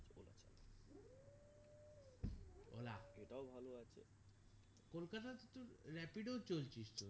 কলকাতা তে তো rapido চলছিস তো বল